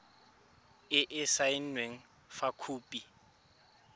e e saenweng fa khopi